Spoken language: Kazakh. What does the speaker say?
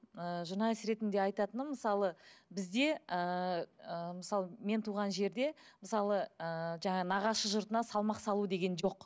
ы журналист ретінде айтатыным мысалы бізде ыыы мысалы мен туған жерде мысалы ы жаңағы нағашы жұртына салмақ салу деген жоқ